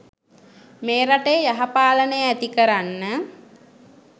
මේ රටේ යහපාලනය ඇති කරන්න.